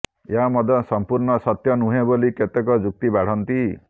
ଏହା ମଧ୍ୟ ସଂପୂର୍ଣ୍ଣ ସତ୍ୟ ନୁହେଁ ବୋଲି କେତେକ ଯୁକ୍ତି ବାଢନ୍ତି